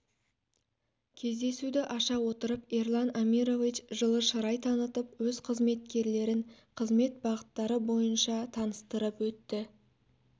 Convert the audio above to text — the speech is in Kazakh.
кездесуді аша отырып ерлан амирович жылы шырай танытып өз қызметкерлерін қызмет бағыттары бойынша таныстырып өтті